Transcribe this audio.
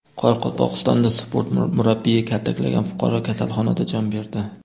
Qoraqalpog‘istonda sport murabbiyi kaltaklagan fuqaro kasalxonada jon berdi.